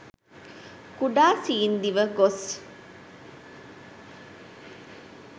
කුඩා සීන් දිව ගොස්